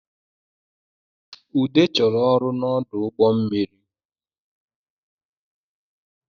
Ude chọrọ ọrụ n’ọdụ ụgbọ mmiri